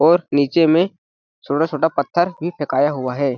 और नीचे में छोटा-छोटा पत्थर भी फेकाया हुआ है।